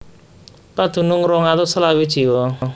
Padunung rong atus selawe jiwa